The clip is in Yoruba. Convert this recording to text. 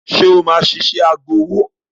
Ṣé o máa ṣiṣẹ́ agbowó?